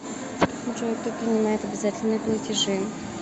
джой кто принимает обязательные платежи